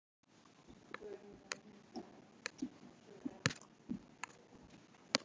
Hvernig komst hann óbugaður frá slíku?